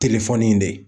Telefɔni in de